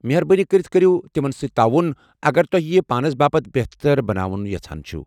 مہربٲنی كرِتھ کٔرِو تمن سۭتۍ تعاون، اگر تۄہہِ یہِ پانس باپت بہتر بناوُن یژھان چھِو ۔